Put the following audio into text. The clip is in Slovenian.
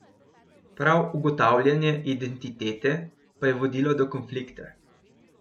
Prav ugotavljanje identitete pa je vodilo do konflikta.